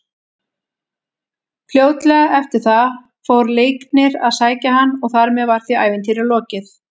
Fljótlega eftir það fór Leiknir að sækja hann og þar með var því ævintýri lokið.